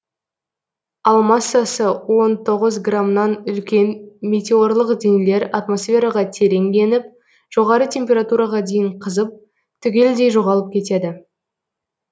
ал массасы он тоғыз грамнан үлкен метеорлық денелер атмосфераға терең еніп жоғары температураға дейін қызып түгелдей жоғалып кетеді